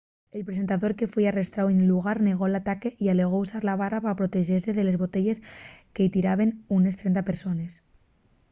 el presentador que foi arrestáu nel llugar negó l'ataque y alegó usar la barra pa protexese de les botelles que-y tiraben unes 30 persones